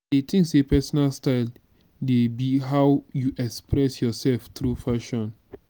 i dey think say pesinal style dey be how you express yourself through fashion.